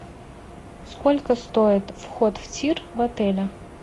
сколько стоит вход в тир в отеле